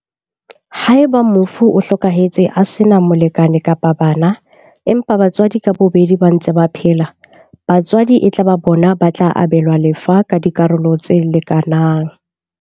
Haeba mofu o hlokahetse a sena molekane kapa bana, empa batswadi ka bobedi ba ntse ba phela, batswadi e tla ba bona ba tla abelwa lefa ka dikarolo tse leka nang.